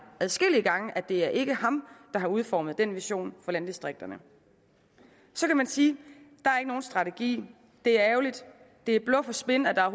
adskillige gange at det ikke er ham der har udformet den vision for landdistrikterne så kan man sige at nogen strategi at det er ærgerligt at det er bluff og spin at der